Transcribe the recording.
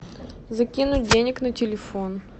закинуть денег на телефон